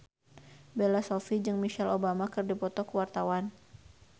Bella Shofie jeung Michelle Obama keur dipoto ku wartawan